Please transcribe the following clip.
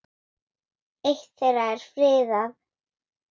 Eitt þeirra er friðað.